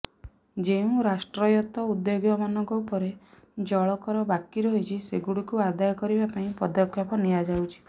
ଯେଉଁ ରାଷ୍ଟ୍ରାୟତ୍ତ ଉଦ୍ୟୋଗମାନଙ୍କ ଉପରେ ଜଳକର ବାକି ରହିଛି ସେଗୁଡ଼ିକୁ ଆଦାୟ କରିବା ପାଇଁ ପଦକ୍ଷେପ ନିଆଯାଉଛି